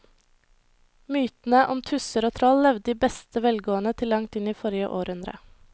Mytene om tusser og troll levde i beste velgående til langt inn i forrige århundre.